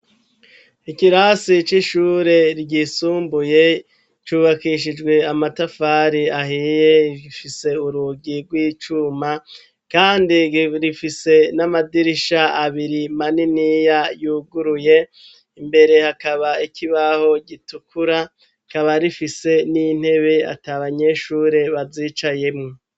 Ikirasi c'ishure ryisumbuye cubakishijwe amatafari ahiye. rifise urugi rw'icuma kandi rifise n'amadirisha abiri maniniya yuguruye. Imbere hakaba ikibaho gitukura rikaba rifise n'intebe ata abanyeshure bazicayemwo.